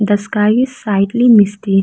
the sky is sidely mistake.